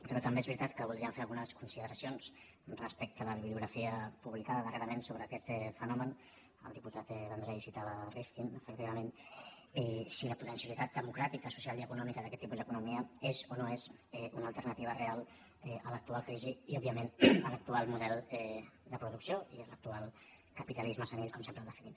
però també és veritat que voldríem fer algunes consi·deracions respecte a la bibliografia publicada darrera·ment sobre aquest fenomen el diputat vendrell citava rifkin efectivament si la potencialitat democràtica social i econòmica d’aquest tipus d’economia és o no és una alternativa real a l’actual crisi i òbviament a l’actual model de producció i a l’actual capitalisme se·nil com sempre el definim